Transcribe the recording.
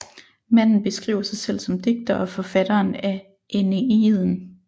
Manden beskriver sig selv som digter og forfatter af Æneiden